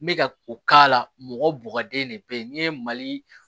N bɛ ka o k'a la mɔgɔ bugɔlen de bɛ yen n'i ye mali